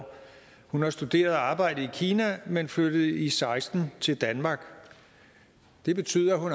hun har studeret og arbejdet i kina men flyttede i seksten til danmark det betyder at hun